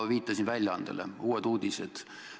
Ma viitasin väljaandele Uued Uudised.